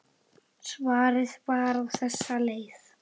Svarið var á þessa leið